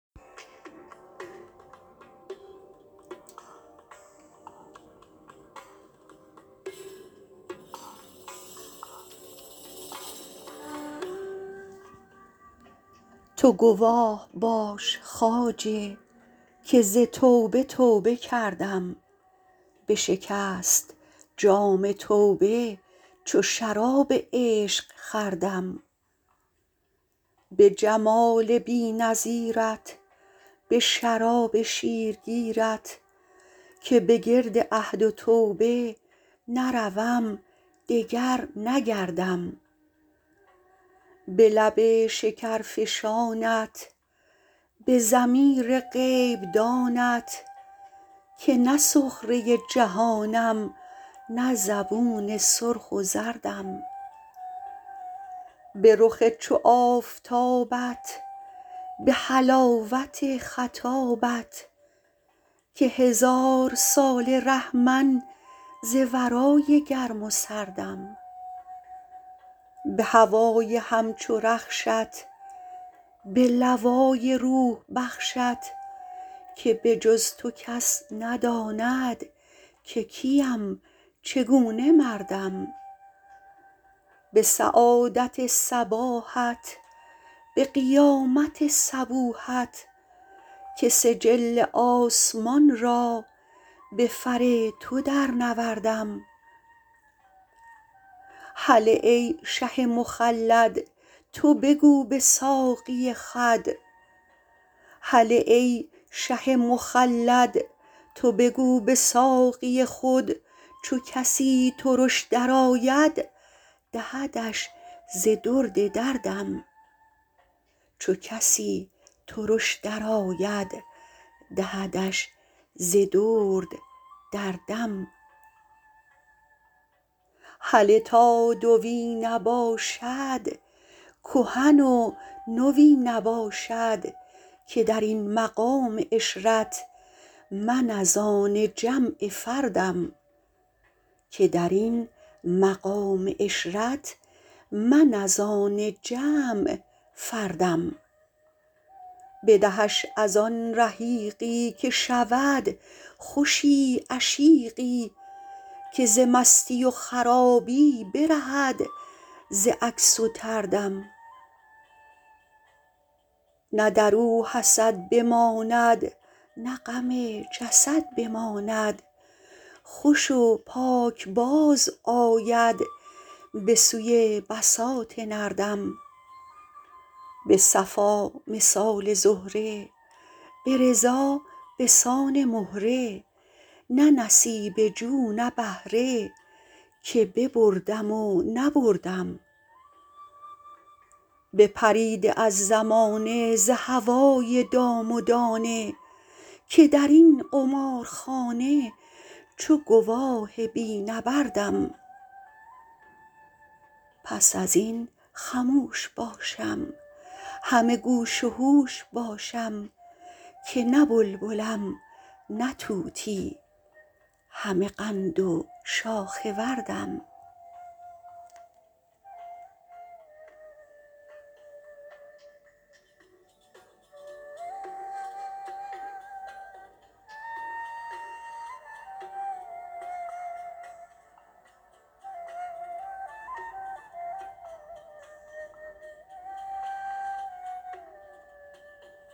تو گواه باش خواجه که ز توبه توبه کردم بشکست جام توبه چو شراب عشق خوردم به جمال بی نظیرت به شراب شیرگیرت که به گرد عهد و توبه نروم دگر نگردم به لب شکرفشانت به ضمیر غیب دانت که نه سخره جهانم نه زبون سرخ و زردم به رخ چو آفتابت به حلاوت خطابت که هزارساله ره من ز ورای گرم و سردم به هوای همچو رخشت به لوای روح بخشت که به جز تو کس نداند که کیم چگونه مردم به سعادت صباحت به قیامت صبوحت که سجل آسمان را به فر تو درنوردم هله ای شه مخلد تو بگو به ساقی خود چو کسی ترش درآید دهدش ز درد در دم هله تا دوی نباشد کهن و نوی نباشد که در این مقام عشرت من از آن جمع فردم بدهش از آن رحیقی که شود خوشی عشیقی که ز مستی و خرابی برهد ز عکس و طردم نه در او حسد بماند نه غم جسد بماند خوش و پاک بازآید به سوی بساط نردم به صفا مثال زهره به رضا به سان مهره نه نصیبه جو نه بهره که ببردم و نبردم بپریده از زمانه ز هوای دام و دانه که در این قمارخانه چو گواه بی نبردم پس از این خموش باشم همه گوش و هوش باشم که نه بلبلم نه طوطی همه قند و شاخ وردم